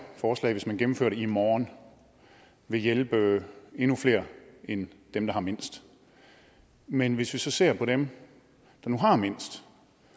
forslag hvis man gennemfører det i morgen vil hjælpe endnu flere end dem der har mindst men hvis vi så ser på dem der nu har mindst